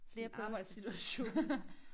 En arbejdssituation